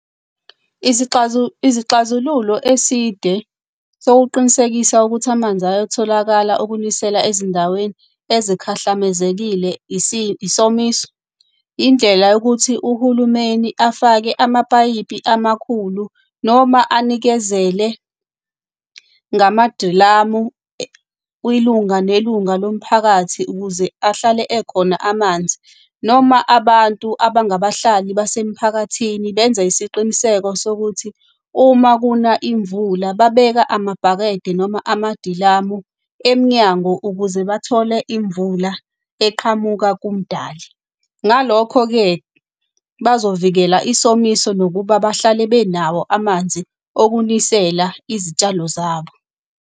Izixazululo eside sokuqinisekisa ukuthi amanzi ayatholakala okunisela ezindaweni ezikhahlamezekile isomiso, indlela yokuthi uhulumeni afake amapayipi amakhulu noma anikezele ngamadilamu, kwilunga nelunga lomphakathi ukuze ahlale ekhona amanzi. Noma abantu abangabahlali basemphakathini benze isiqiniseko sokuthi uma kuna imvula babeka amabhakede noma amadilamu emnyango ukuze bathole imvula eqhamuka kumdali. Ngalokho-ke, bazovikela isomiso nokuba bahlale benawo amanzi okunisela izitshalo zabo.